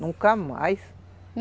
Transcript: Nunca mais.